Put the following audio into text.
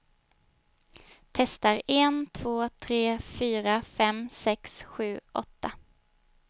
Testar en två tre fyra fem sex sju åtta.